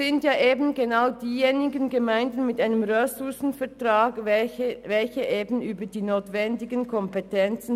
Die Gemeinden mit Ressourcenvertrag verfügen über die notwendigen Kompetenzen.